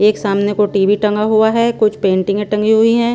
एक सामने को टीवी टंगा हुआ हैं कुछ पेंटिंगें टंगी हुई हैं।